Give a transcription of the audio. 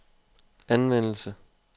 anvendelse